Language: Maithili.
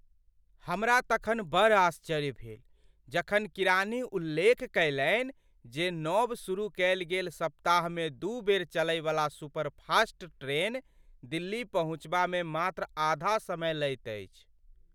हमरा तखन बड़ आश्चर्य भेल जखन किरानी उल्लेख कयलनि जे नव शुरू कयल गेल सप्ताहमे दू बेर चलैवला सुपरफास्ट ट्रेन दिल्ली पहुँचबामे मात्र आधा समय लैत अछि!